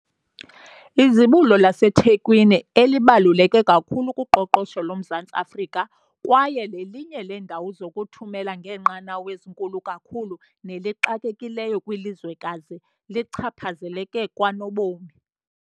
Izibulo laseThekwini, elibaluleke kakhulu kuqoqosho loMzantsi Afrika kwaye lelinye leendawo zokuthumela ngeenqanawa ezinkulu kakhulu nelixakekileyo kwilizwekazi, lichaphazeleke kanobom.